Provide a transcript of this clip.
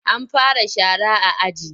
An fara shara a aji?